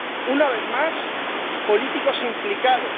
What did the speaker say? Una vez más, políticos implicados.